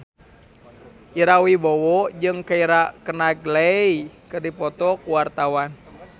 Ira Wibowo jeung Keira Knightley keur dipoto ku wartawan